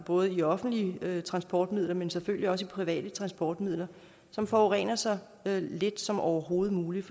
både i offentlige transportmidler men selvfølgelig også i private transportmidler som forurener så lidt som overhovedet muligt